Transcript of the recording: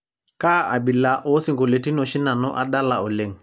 kaa abila oosingoliotin oshi nanu adala oleng'